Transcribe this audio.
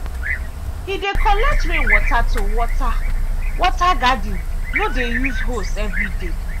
he dey collect rainwater to water water garden no dey use hose every day.